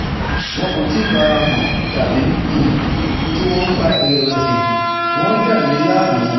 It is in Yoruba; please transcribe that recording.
Wọn kò tíì fara hàn, tàbí um tí wọ́n ń fa ìrẹ̀wẹ̀sì, wọ́n ń dà mí láàmú